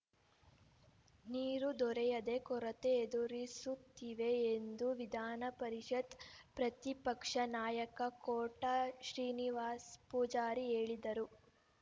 ನೀರು ದೊರೆಯದೆ ಕೊರತೆ ಎದುರಿಸುತ್ತಿವೆ ಎಂದು ವಿಧಾನಪರಿಷತ್‌ ಪ್ರತಿಪಕ್ಷ ನಾಯಕ ಕೋಟ ಶ್ರೀನಿವಾಸ ಪೂಜಾರಿ ಹೇಳಿದರು